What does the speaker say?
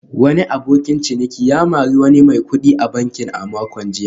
Wani abokin ciniki ya mari wani mai kudi a banki a makon jiya